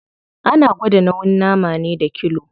Ana gwada nauyin nama ne da kilo.